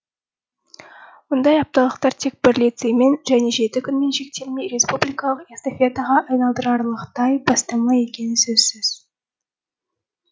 мұндай апталықтар тек бір лицеймен және жеті күнмен шектелмей республикалық эстафетаға айналдырарлықтай бастама екені сөзсіз